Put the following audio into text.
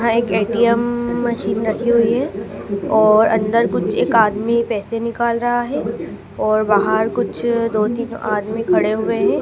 हां एक ATM machine लगी हुई है और अंदर कुछ एक आदमी पैसे निकल रहा है और बाहर कुछ दो तीन आदमी खड़े हुए हैं।